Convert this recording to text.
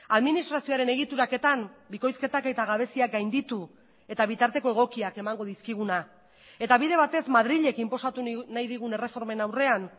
administrazioaren egituraketan bikoizketak eta gabeziak gainditu eta bitarteko egokiak emango dizkiguna eta bide batez madrilek inposatu nahi digun erreformen aurrean